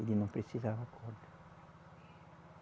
Ele não precisava corda.